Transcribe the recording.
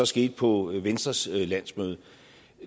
skete på venstres landsmøde